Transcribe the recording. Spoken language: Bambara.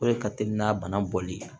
O de ka teli n'a bana bɔli ye